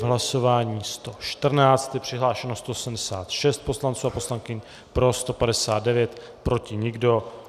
V hlasování 114 je přihlášeno 186 poslanců a poslankyň, pro 159, proti nikdo.